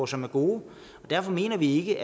som er gode og derfor mener vi ikke